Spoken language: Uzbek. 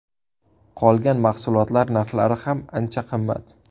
Qolgan mahsulotlar narxlari ham ancha qimmat.